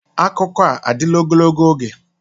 Akụkọ a adịla ogologo oge?